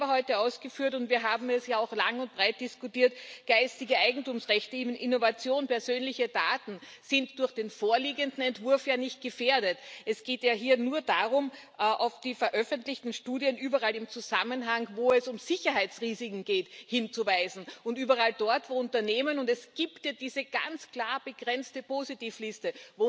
Sie haben selber heute ausgeführt und wir haben es ja auch lang und breit diskutiert Rechte des geistigen Eigentums, Innovation, persönliche Daten sind durch den vorliegenden Entwurf ja nicht gefährdet. Es geht ja hier nur darum, auf die veröffentlichten Studien überall im Zusammenhang, wo es um Sicherheitsrisiken geht, hinzuweisen, und überall dort, wo Unternehmen und es gibt ja diese ganz klar begrenzte Positivliste